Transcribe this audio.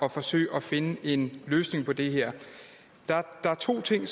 at forsøge at finde en løsning på det her der er to ting